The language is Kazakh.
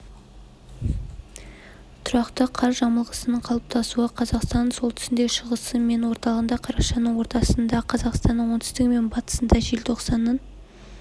тұрақты қар жамылғысының қалыптасуы қазақстанның солтүстігінде шығысы мен орталығында қарашаның ортасында қазақстанның оңтүстігі мен батысында желтоқсанның